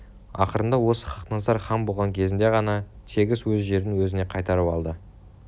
ақырында осы хақназар хан болған кезінде ғана тегіс өз жерін өзіне қайтарып алды